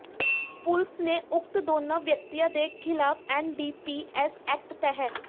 ਪੁਲਸ ਨੇ ਉਕਤ ਦੋਨਾਂ ਵਿਅਕਤੀਆਂ ਦੇ ਖਿਲਾਫ਼ ਐਨਡੀਪੀਐਸ ਐਕਟ ਤਹਿ